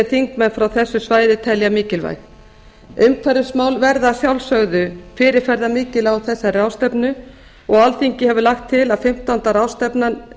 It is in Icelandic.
þingmenn frá þessu svæði telja mikilvæg umhverfismál verða að sjálfsögðu fyrirferðarmikil á þessari ráðstefnu og alþingi hefur lagt til að fimmtánda ráðstefnan